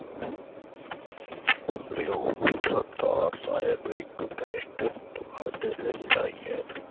ਲਿਓ ਸਰਦਾਰ ਸਾਹਿਬ ਇਕ cassette ਤੁਹਾਡੇ ਲਈ ਆਈ ਹੈ।